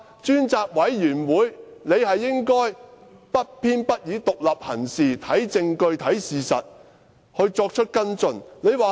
專責委員會理應不偏不倚，獨立行事，看證據看事實，然後作出跟進。